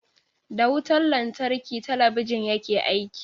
Da wutan lantarki talabijin yake aiki.